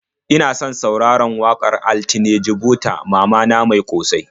Ina son sauraron waƙar Altine Jibo ta "Mama na mai ƙosai."